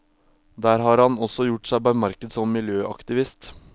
Der har han også gjort seg bemerket som miljøaktivist.